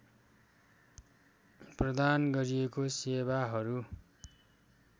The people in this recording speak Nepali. प्रदान गरिएको सेवाहरू